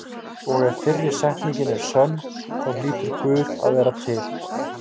Og ef fyrri setningin er sönn þá hlýtur Guð að vera til.